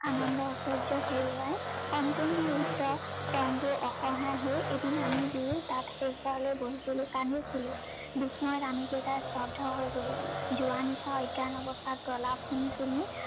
আনন্দ ঐচয্য হেৰুৱাই সম্পূৰ্ণ ৰিক্ত পংগু অসহায় হৈ এদিন আমি দুয়ো তাত শেষবাৰলৈ বহিছিলো, কান্দিছিলো। বিস্ময়ত আমি কেইটা স্তব্ধ হৈ গলো। যোৱানিশা অজ্ঞান অৱস্থাত প্ৰলাপ শুনি শুনি